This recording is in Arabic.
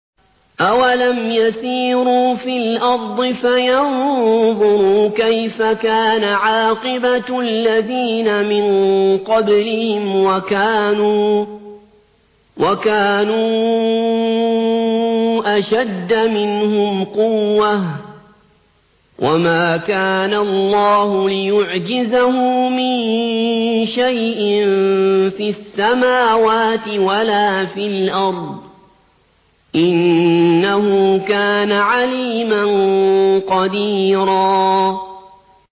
أَوَلَمْ يَسِيرُوا فِي الْأَرْضِ فَيَنظُرُوا كَيْفَ كَانَ عَاقِبَةُ الَّذِينَ مِن قَبْلِهِمْ وَكَانُوا أَشَدَّ مِنْهُمْ قُوَّةً ۚ وَمَا كَانَ اللَّهُ لِيُعْجِزَهُ مِن شَيْءٍ فِي السَّمَاوَاتِ وَلَا فِي الْأَرْضِ ۚ إِنَّهُ كَانَ عَلِيمًا قَدِيرًا